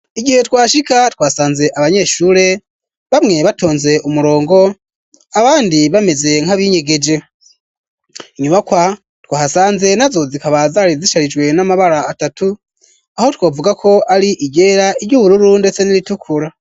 Igihe twashika twasanze abanyeshure bamwe batonze umurongo abandi bameze nk'abinyegeje inyubakwa twasanze nazo zikaba zari zisharijwe n'amabara atatu aho twavugako ari iryera iryubururu ndetse n'iritukura.